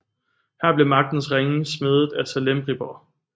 Her blev magtens ringe smedet af Celebrimbor